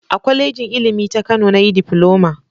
A kwalejin Ilimi ta Kano na yi difiloma